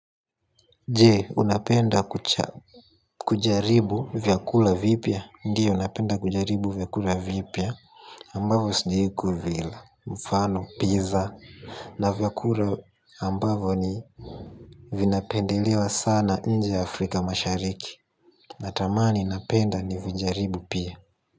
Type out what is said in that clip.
Jee, unapenda kujaribu vyakula vipia. Ndiyo, napenda kujaribu vyakula vipia ambavo sijaikuvila mfano, pizza na vyakula ambavo ni vinapendelewa sana nje Afrika mashariki. Natamani napenda nivijaribu pia.